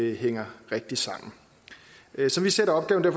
hænger rigtigt sammen som vi ser opgaven er